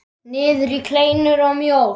Niður í kleinur og mjólk.